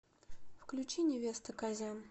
включи невеста казян